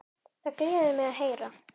Það gleður mig að heyra.